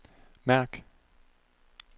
mærk